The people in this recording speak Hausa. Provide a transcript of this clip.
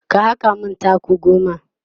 ka haka min taku goma!